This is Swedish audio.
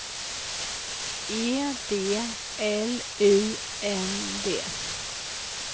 E D L U N D